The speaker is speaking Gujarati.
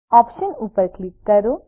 ઓપ્શન ઉપર ક્લિક કરો